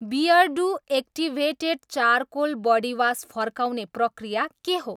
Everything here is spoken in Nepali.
बियरडु एक्टिभेटेड चारकोल बडीवास फर्काउने प्रक्रिया के हो?